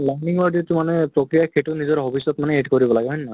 learning ৰ যিটো মানে প্ৰক্ৰিয়া সেইটো মানে নিজৰ hobbies ত মানে add কৰিব লাগে, হয় নে নহয় ?